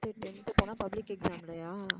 இப்ப tenth க்கு லா public exam இல்லையா?